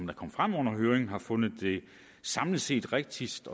kom frem under høringen har fundet det samlet set rigtigst